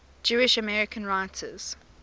jewish american writers